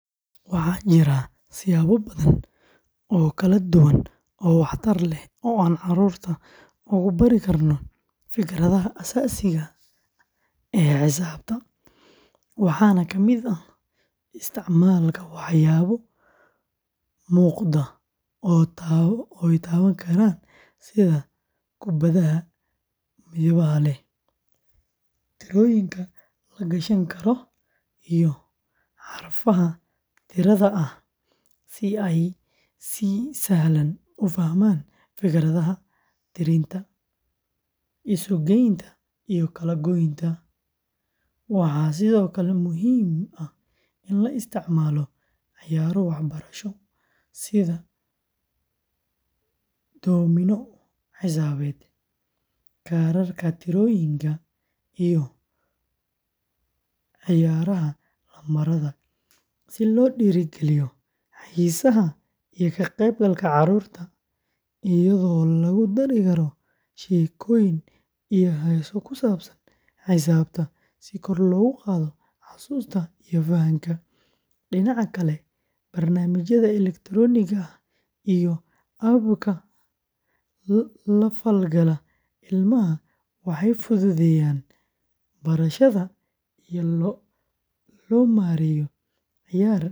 Marka barayaasha iyo ardaydu ay raadinayaan waxbarasho tayo leh gudaha bulshada, waxay wajahaan caqabado badan oo ay ka mid yihiin xasilooni darro siyaasadeed, amni xumo, dhaqaale xumo, agab la’aan waxbarasho, tayada macallimiinta oo hooseysa, xarumo waxbarasho oo aan ku filnayn, carqalado la xiriira dhaqanka iyo caadooyinka, iyo sidoo kale cadaadis kaga imaanaya qoyska ama bulshada inteeda kale oo aan muhiimad siinin waxbarashada; barayaashu waxay la kulmaan dhibaatooyin la xiriira mushahar la’aan, tababar la’aan joogto ah, iyo qalab la’aan ay ku gutaan waajibaadkooda, halka ardayduna ay la tacaalaan baahiyo nololeed, helitaanka manhaj tayo leh, iyo helitaan la’aanta adeegyo muhiim ah sida koronto, biyo, iyo gaadiid; intaa waxaa dheer, waxaa jirta faham la’aan.